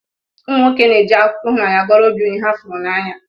Ụmụnwoke na eji akụkọ ihụnanya goro obi onye ha furu n'anya.